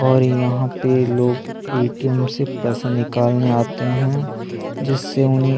और यहाँ पर लोग ए. टी. एम. से पैसे निकालने आते है जिससे उन्हें--